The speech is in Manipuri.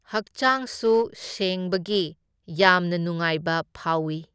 ꯍꯛꯆꯥꯡꯁꯨ ꯁꯦꯡꯕꯒꯤ ꯌꯥꯝꯅ ꯅꯨꯡꯉꯥꯏꯕ ꯐꯥꯎꯏ꯫